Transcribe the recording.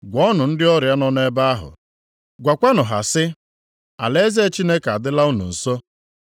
Gwọọnụ ndị ọrịa nọ nʼebe ahụ, gwakwanụ ha sị, ‘Alaeze Chineke adịla unu nso.’